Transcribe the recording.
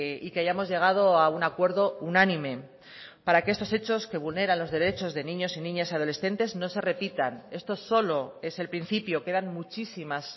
y que hayamos llegado a un acuerdo unánime para que estos hechos que vulneran los derechos de niños y niñas adolescentes no se repitan esto solo es el principio quedan muchísimas